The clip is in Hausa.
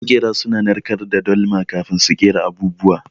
Maƙera suna narkar da dalma kafin su kera abubuwa.